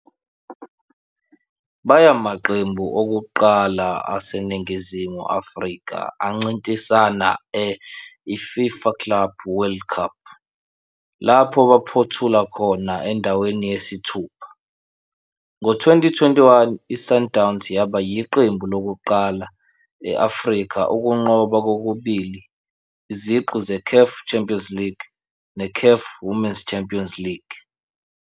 Bayamaqembu okuqala aseNingizimu Afrika ancintisana e-I-FIFA Club World Cup, lapho baphothula khona endaweni yesithupha. Ngo-2021, i-Sundowns yaba yiqembu lokuqala e-Afrika ukunqoba kokubili iziqu ze-CAF Champions League ne-CAF Women's Champions League.